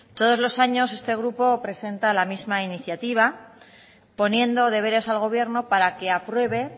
todos los años este grupo presenta la misma iniciativa poniendo deberes al gobierno para que apruebe